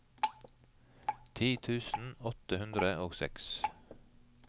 ti tusen åtte hundre og seks